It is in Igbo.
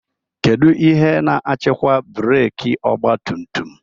Kedu ihe na-achịkwa breeki ọgba tum tum?